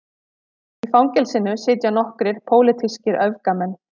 Í fangelsinu sitja nokkrir pólitískir öfgamenn